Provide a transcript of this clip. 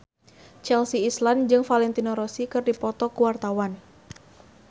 Chelsea Islan jeung Valentino Rossi keur dipoto ku wartawan